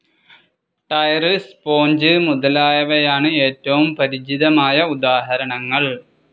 Tyre, sponge മുതലായവയാണ് ഏറ്റവും പരിചിതമായ ഉദാഹരണങ്ങൾ.